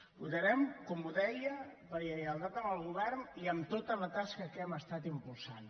votarem com deia per lleialtat amb el govern i amb tota la tasca que hem estat impulsant